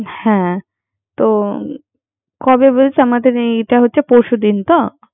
হ্যা তো কবে বলছে। আমাদারে এটা হচ্ছে পরশু দিন তো